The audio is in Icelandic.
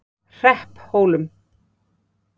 Hrepphólum